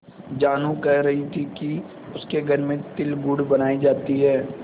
जानू कह रही थी कि उसके घर में तिलगुड़ बनायी जाती है